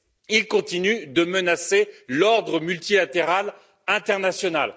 Il continue de menacer l'ordre multilatéral international.